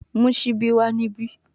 Mu sibi wa nibi